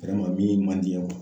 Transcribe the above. min man di n ye